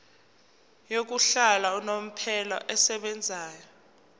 yokuhlala unomphela esebenzayo